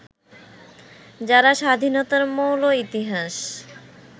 যারা স্বাধীনতার মৌল ইতিহাস